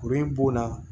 Kurun in bo la